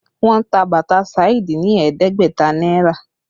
Wọ́n ta bàtà Saidi ní ẹ̀ẹ́dẹ́gbẹ̀ta náírà